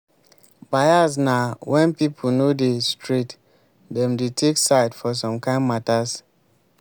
bias na when pipo no dey straight dem dey take side for some kind matters